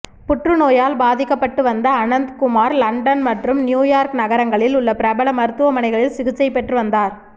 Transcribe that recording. புற்றுநோயால் பாதிக்கப்பட்டு வந்த அனந்த் குமார் லண்டன் மற்றும் நியூயார்க் நகரங்களில் உள்ள பிரபல மருத்துவமனைகளில் சிகிச்சை பெற்றுவந்தார்